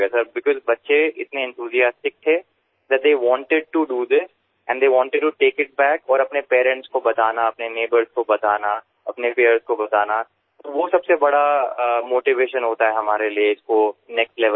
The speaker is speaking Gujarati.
સાહેબ કારણકે બાળકો એટલા ઉત્સાહિત હતા કે તેઓ આ કરવા માગતા હતા અને તેઓ તેને પાછું કરવા માગતા હતા અને પોતાનાં માબાપને બતાવવું પોતાના પડોશીઓને બતાવવું પોતાના મિત્રોને બતાવવું સૌથી મોટું પ્રેરણાદાયક હોય છે આપણા માટે તેને આગળના સ્તર પર લઈ જવું